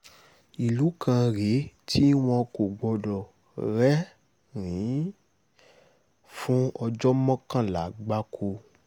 ìlú kan rèé tí wọn kò gbọdọ̀ rẹ́rìn-ín fún ọjọ́ mọ́kànlá gbáko